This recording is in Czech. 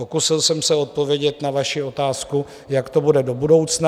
Pokusil jsem se odpovědět na vaši otázku, jak to bude do budoucna.